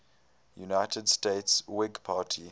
united states whig party